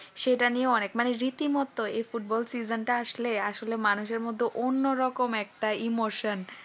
সেটা নিয়ে অনেক মানে রীতিমত ফুটবল season টা আসলে আসলে মানুষ এর মধ্যে অন্যরকম একটা emotion